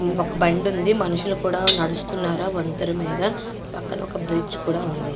ఒక బండి ఉంది. మనుషులు కూడా నడుస్తున్నారు ఆ వంతల మీద. పక్కన ఒక బ్రిడ్జ్ కూడా ఉంది.